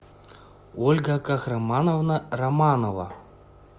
ольга кахрамановна романова